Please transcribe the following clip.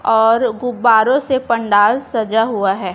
और गुब्बारों से पंडाल सजा हुआ है।